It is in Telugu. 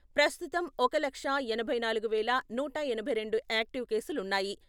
ప్రస్తుతం ఒక లక్షా ఎనభై నాలుగు వేల నూట ఎనభై రెండు యాక్టివ్ కేసులున్నాయి.